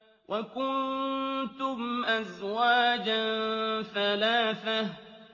وَكُنتُمْ أَزْوَاجًا ثَلَاثَةً